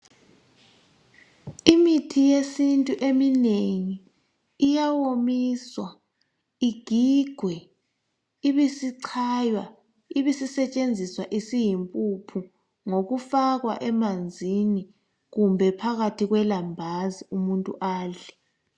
Imithi yesintu eminengi iyawomiswa, igigwe, ibisichaywa, ibisisetshenziswa isiyimpuphu ngokufakwa emanzini kumbe phakathi kwelambazi umuntu adle.